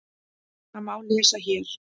Það má lesa hér.